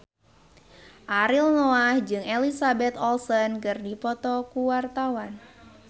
Ariel Noah jeung Elizabeth Olsen keur dipoto ku wartawan